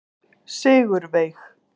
Sigurveig